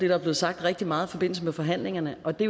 er blevet sagt rigtig meget i forbindelse med forhandlingerne og det